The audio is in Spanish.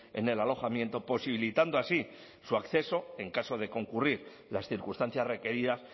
en el alojamiento posibilitando así su acceso en caso de concurrir las circunstancias requeridas